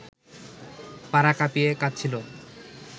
পাড়া কাঁপিয়ে কাঁদছিল